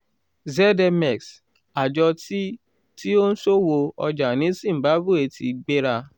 zmx: àjọ tí tí ó ń ṣòwò ọjà ní zimbabwe ti gbéra